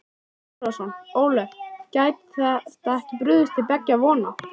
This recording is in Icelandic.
Þorbjörn Þórðarson: Ólöf, gæti þetta ekki brugðið til beggja vona?